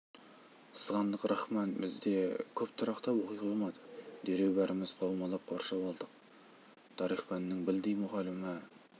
сызғандық рахман бізде көп тұрақтап оқи қоймады дереу бәріміз қаумалап қоршап алдық тарих пәнінің білдей мұғалімі